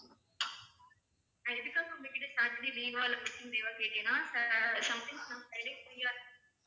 நான் எதுக்காக உங்ககிட்ட saturday leave ஆஹ் இல்ல working day ஆன்னு கேட்டேனா sometimes நான் friday free ஆ இருப்பேன்